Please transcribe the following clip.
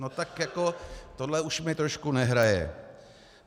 No tak jako tohle už mi trošku nehraje.